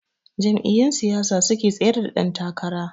Jam'iyyun siyasa suke tsayar da dan takara.